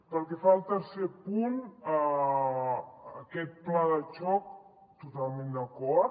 pel que fa al tercer punt aquest pla de xoc totalment d’acord